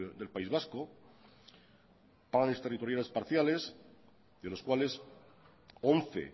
del país vasco planes territoriales parciales de los cuales once